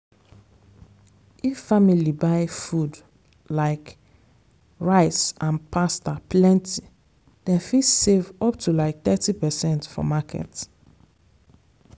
if family buy food like rice and pasta plenty dem fit save up to like thirty percent for market.